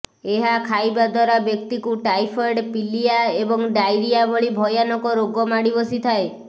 ଏହା ଖାଇବା ଦ୍ୱାରା ବ୍ୟକ୍ତିକୁ ଟାଇଫଏଡ୍ ପିଲିୟା ଏବଂ ଡ଼ାଇରିଆ ଭଳି ଭୟାନକ ରୋଗ ମାଡ଼ି ବସିଥାଏ